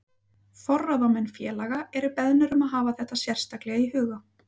Forráðamenn félaga eru beðnir um að hafa þetta sérstaklega í huga.